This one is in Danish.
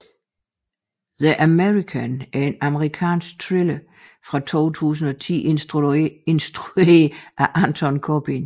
The American er en amerikansk thriller fra 2010 instrueret af Anton Corbijn